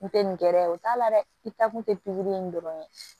Kun tɛ nin gɛrɛ ye o t'a la dɛ i ta kun tɛ pikiri in dɔrɔn ye